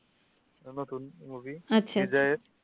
নতুন movie